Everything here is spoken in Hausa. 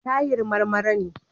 Tahir Marmara ne.